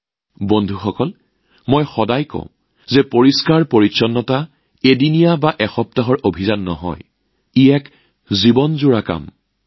বন্ধুসকল মই সদায় কওঁ যে স্বচ্ছতা এদিন বা এসপ্তাহৰ অভিযান নহয় বৰঞ্চ ই আজীৱন কাৰ্যকৰী হোৱাৰ এক প্ৰচেষ্টা